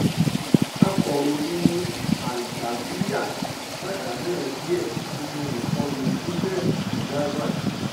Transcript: akọ̀ròyìn al-javerya pàdánù ẹbí ẹ̀ sínú ìkọlù israel sí gaza